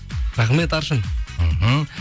рахмет аршын мхм